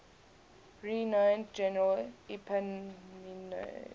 renowned general epaminondas